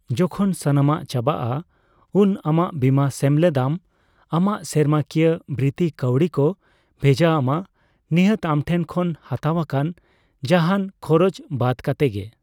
ᱡᱚᱠᱷᱚᱱ ᱥᱟᱱᱟᱢᱟᱜ ᱪᱟᱵᱟᱜᱼᱟ, ᱩᱱ ᱟᱢᱟᱜ ᱵᱤᱢᱟ ᱥᱮᱢᱞᱮᱫ ᱟᱢ ᱟᱢᱟᱜ ᱥᱮᱨᱢᱟᱠᱤᱭᱟᱹ ᱵᱨᱤᱛᱛᱤ ᱠᱟᱹᱣᱰᱤ ᱠᱚ ᱵᱷᱮᱡᱟ ᱟᱢᱟ, ᱱᱤᱦᱟᱹᱛ ᱟᱢᱴᱷᱮᱱ ᱠᱷᱚᱱ ᱦᱟᱛᱟᱣ ᱟᱠᱟᱱ ᱡᱟᱦᱟᱟᱱ ᱠᱷᱚᱨᱚᱪ ᱵᱟᱫ ᱠᱟᱛᱮ ᱜᱮ ᱾